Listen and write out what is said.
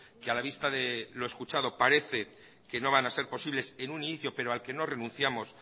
que a la vista de los escuchado parece que no van a ser posibles en un inicio pero al que no renunciamos